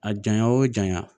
A janya o janya